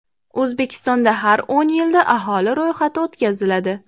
O‘zbekistonda har o‘n yilda aholi ro‘yxati o‘tkaziladi.